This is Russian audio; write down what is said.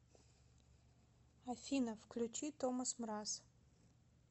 афина включи томас мраз